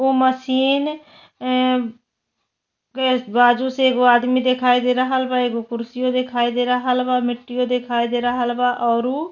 ओ machine ए केस बाजु से एगो आदमी देखाई दे रहल बा। एगो कुर्सियो देखाई दे रहल बा। मिट्टियो देखाई दे रहल बा औरु --